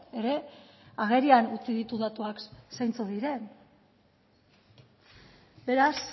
ere agerian utzi ditu datuak zeintzuk diren beraz